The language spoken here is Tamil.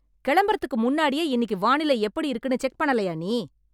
கெளம்பறதுக்கு முன்னாடியே இன்னிக்கு வானிலை எப்படி இருக்குன்னு செக் பண்ணலயா நீ?